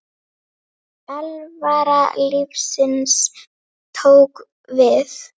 Alvara lífsins tók við.